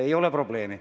Ei ole probleemi.